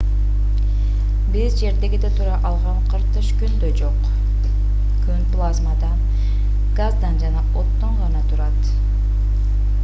биз жердегидей тура алган кыртыш күндө жок күн плазмадан газдан жана оттон гана турат